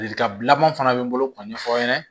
Ladilikan laban fana bɛ n bolo k'o ɲɛfɔ aw ɲɛna